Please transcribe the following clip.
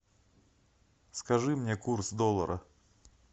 скажи мне курс доллара